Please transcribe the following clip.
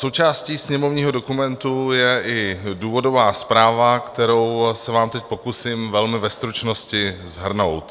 Součástí sněmovního dokumentu je i důvodová zpráva, kterou se vám teď pokusím velmi ve stručnosti shrnout.